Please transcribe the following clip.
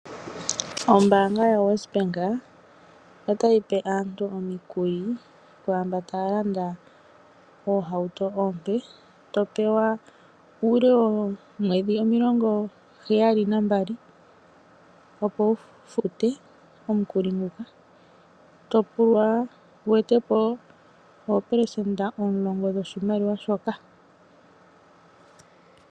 Ombaanga yoWesbank otayipe aantu omikuli kwaamba taalanda oohauto oompe, topewa uule woomwedhi omilongo heyali nambali opo wufute omukuli nguka. topulwa wetepo opelesenda olongo dhoshimaliwa shoka.